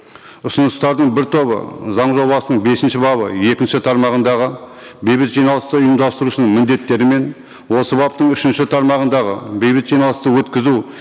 ұсыныстардың бір тобы заң жобасының бесінші бабы екінші тармағындағы бейбіт жиналысты ұйымдастырушының міндеттері мен осы баптың үшінші тармағындағы бейбіт жиналысты өткізу